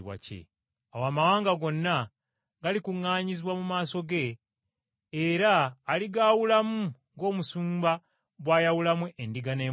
Awo amawanga gonna galikuŋŋaanyizibwa mu maaso ge era aligaawulamu ng’omusumba bw’ayawulamu endiga n’embuzi.